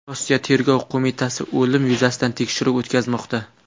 Rossiya tergov qo‘mitasi o‘lim yuzasidan tekshiruv o‘tkazmoqda.